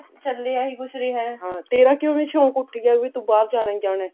ਚੱਲ ਹੀ ਆਹੀ ਕੁਛ ਰਿਹਾ ਤੇਰਾ ਕਿਉਂ ਸ਼ੋਂਕ ਉੱਠ ਗਿਆ ਵੀ ਤੂੰ ਬਾਹਰ ਚਲੀ ਜਾਵੇਂ